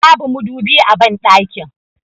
Babu madubi a banɗakin